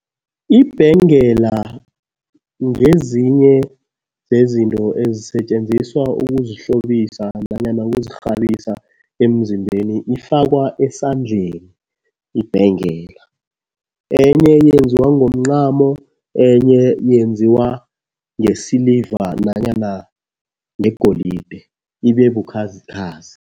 Ibhengela ngezinye zezinto ezisetjenziswa ukuzihlobisa nanyana ukuzirhabisa emzimbeni. Ifakwa esandleni ibhengela. Enye yenziwe ngomncamo, enye yenziwa ngesiliva nanyana ngegolide, ibe bukhazikhazi.